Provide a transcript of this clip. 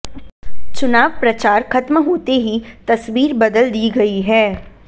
चुनाव प्रचार खत्म होते ही तस्वीर बदल दी गई है